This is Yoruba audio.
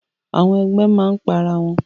Àwọn ẹgbẹ máa n pa ará wọn.